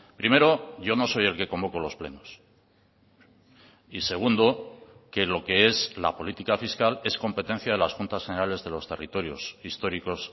primero yo no soy el que convoco los plenos y segundo que lo que es la política fiscal es competencia de las juntas generales de los territorios históricos